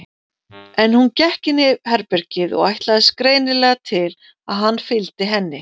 En hún gekk inn í herbergið og ætlaðist greinilega til að hann fylgdi henni.